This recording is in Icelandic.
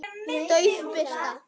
Dauf birta.